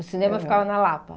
O cinema ficava na Lapa?